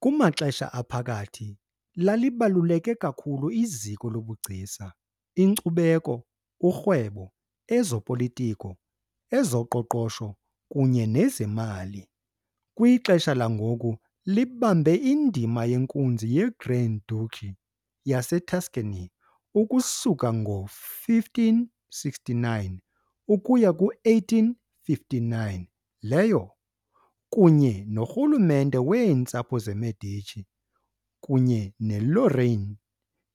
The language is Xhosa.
KumaXesha Aphakathi yayibaluleke kakhulu iziko lobugcisa, inkcubeko, urhwebo, ezopolitiko, ezoqoqosho kunye nezemali, kwixesha langoku yayibambe indima yenkunzi yeGrand Duchy yaseTuscany ukusuka ngo-1569 ukuya ku-1859 leyo, kunye norhulumente weentsapho zeMedici kunye neLorraine,